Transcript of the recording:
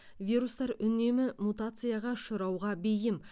вирустар үнемі мутацияға ұшырауға бейім